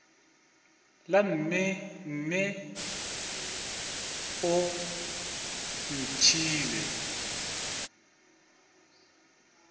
la mme mme o ntšhiile